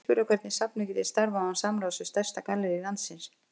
Ekki spyrja hvernig safnið geti starfað án samráðs við stærsta gallerí landsins!